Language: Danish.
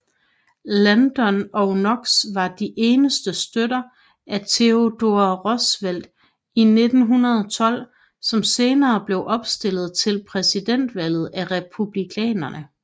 Landon og Knox var de eneste støtter af Theodore Roosevelt i 1912 som senere blev opstillet til præsidentvalget af Republikanerne